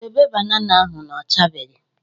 Dobe banana ahụ na ọ chabeghị""